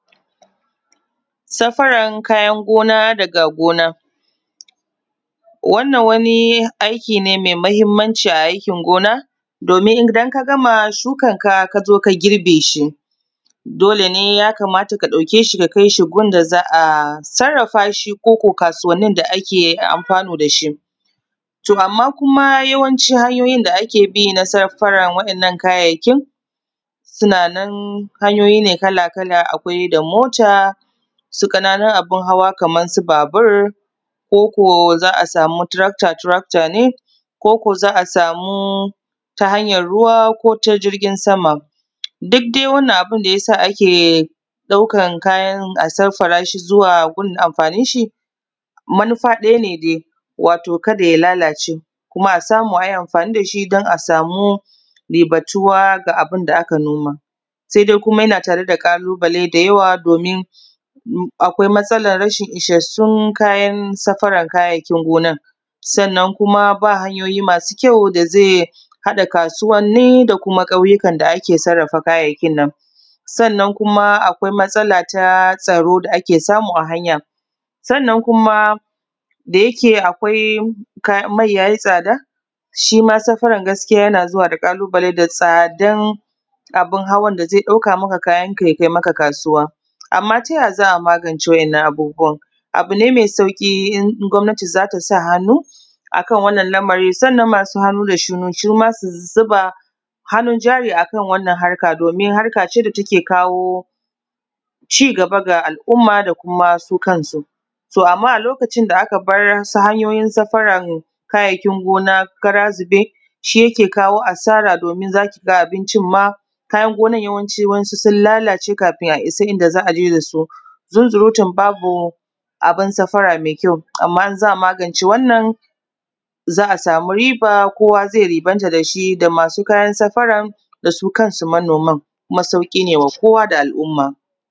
Safaran kayan gona daga gona, wannan wani aiki ne mai mahimmanci a aikin gona. domin Idan kagama shukan ka kazo ka girbeshi dole ne yakamata ka ɗaukeshi ka kaishi gunda za’a sarrafashi ko ko kasuwannin da ake amfanu dashi. To amma kuma yawanci hanyoyin da ake bi na safarran wa'innan kayayyakin sunanan hanyoyi ne kala kala akwai da mota su ƙananun abun hawa Kaman su babur ko ko za’a samu tarakta taraktta ne ko ko za’a samu ta hanyan ruwa kota girjin sama duk dai wannan abunda yasa ake ɗaukan kayan a saffarashi zuwa gun amfanin shi manufa ɗaya ne dai wato kada ya lalace kuma a samu ayi amfani dashi dan a samu ribatuwa ga abunda aka noma. Sai komai yana tareda kalubale da yawa domin akwai matsalan rashin isashshun kayan safaran kayayyakin gona, sanna kuma ba hanyoyi masu kyau dazai haɗa kasuwanni da kuma kauyukan ni da’ake sarrafa kayayyakin nan. Sannan kuma akwai matsala ta tsaro da ake samu a hanya, sannan kuma da yake akwai mai yayi tsada shima safaran gaskiya yana zuwa ƙalubalen da tsadan abun hawan da zai ɗauka maka kayanka yakai maka kasuwa. Amma taya za’a magance waɗannan abubuwan abu ne mai sauƙi in gwamanati zatasa hannu akan wannan lamari sannan masu hannu da shuni suma su zuba hannun jari akan wannan harka, domin harkace da take kawo cigaba ga al’umma da kuma su kansu, to amma a lokacin da akabar su hanyoyin saya farar kayayyaikin gona kara zube shi yake kawo asara domin zakiga abincin ma kayan gonan yawancin wa yansu sun lalace kafin isa inda za aje dasu zunzurutun babu abun safara mai kyau amma in za’a magance wannan za’a sami riba kowa zai ribanta dash da i masu kayan safaran dasu kansu manoman kuma sauƙi ne ma kowa da al’umma.